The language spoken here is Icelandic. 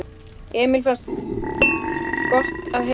Emil fannst gott að heyra að fleiri hefðu grenjað en hann.